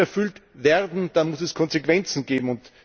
Wenn die nicht erfüllt werden, dann muss es Konsequenzen geben.